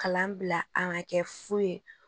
Kalan bila an ka kɛ fu ye